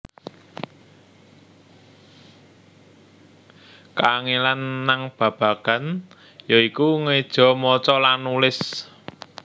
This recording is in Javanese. Kaangelan nang babagan ya iku ngeja maca lan nulis